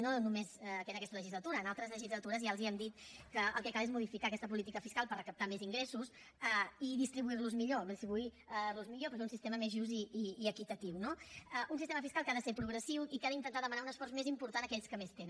no només en aquesta legislatura en altres legislatures ja els hem dit que el que cal és modificar aquesta política fiscal per recaptar més ingressos i distribuir los millor distribuir los millor per fer un sistema més just i equitatiu no un sistema fiscal que ha de ser progressiu i que ha d’intentar demanar un esforç més important a aquells que més tenen